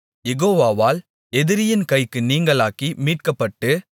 யெகோவாவால் எதிரியின் கைக்கு நீங்கலாக்கி மீட்கப்பட்டு